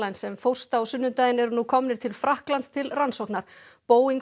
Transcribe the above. sem fórst á sunnudaginn eru nú komnir til Frakklands til rannsóknar Boeing